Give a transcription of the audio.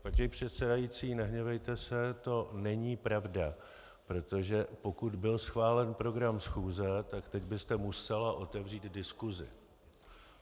Paní předsedající, nehněvejte se, to není pravda, protože pokud byl schválen program schůze, tak teď byste musela otevřít diskusi.